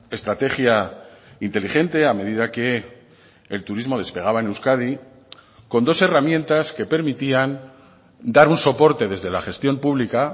estrategia inteligente a medida que el turismo despegaba en euskadi con dos herramientas que permitían dar un soporte desde la gestión pública